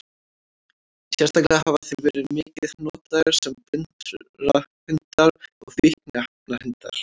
Sérstaklega hafa þeir verið mikið notaðir sem blindrahundar og fíkniefnahundar.